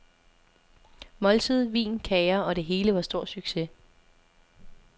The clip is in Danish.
Måltid, vin, kager og det hele var stor succes.